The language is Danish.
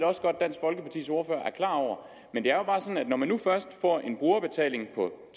klar over men det er jo bare sådan at når man nu først får en brugerbetaling på